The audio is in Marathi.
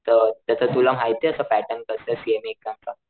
अ त्याच तुला माहितेय असं पॅटर्न कसंय सीएमए एक्साम च